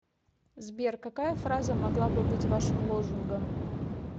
сбер какая фраза могла бы быть вашим лозунгом